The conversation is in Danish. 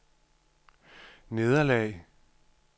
nederlag